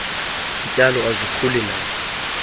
zityalo azikhuli naphi